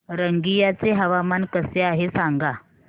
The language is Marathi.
रंगिया चे हवामान कसे आहे सांगा